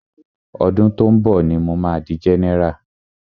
Ọdún tó ń bọ̀ ní mo ma di general.